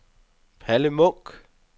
Palle Munch